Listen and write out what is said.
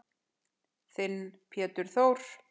Þinn Pétur Þór.